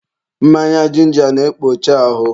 mmanya jinja na-ekpocha ahụ.